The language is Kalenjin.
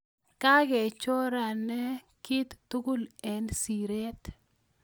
Kakechorena kii tugul eng siiret